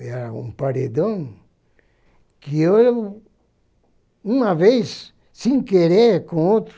Era um paredão que eu, uma vez, sem querer, com outro,